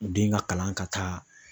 U den ka kalan ka taa